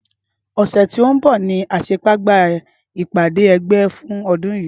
Ọsẹ tí o nbọ ní àsekágbá ìpàdé ẹ̀gbẹ́ fún ọdún yìí